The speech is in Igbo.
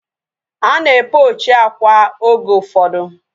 Ana e pochi akwa oge ụfọdụ